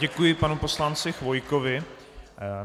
Děkuji panu poslanci Chvojkovi.